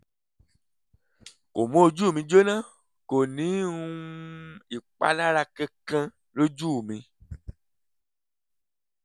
kò mú ojú mi jóná kò ní um ìpalára kankan lójú mi